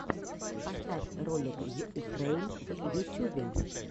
поставь ролик йуфрэйм в ютюбе